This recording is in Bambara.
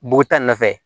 Buguta in nɔfɛ